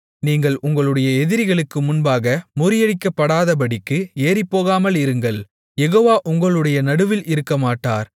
நீங்கள் உங்களுடைய எதிரிகளுக்கு முன்பாக முறியடிக்கப்படாதபடிக்கு ஏறிப்போகாமலிருங்கள் யெகோவா உங்களுடைய நடுவில் இருக்கமாட்டார்